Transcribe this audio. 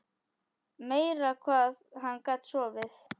Meira hvað hann gat sofið!